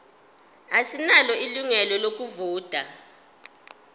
asinalo ilungelo lokuvota